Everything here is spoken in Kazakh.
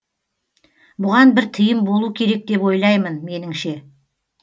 бұған бір тыйым болу керек деп ойлаймын меніңше